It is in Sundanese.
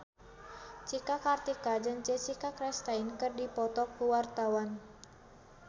Cika Kartika jeung Jessica Chastain keur dipoto ku wartawan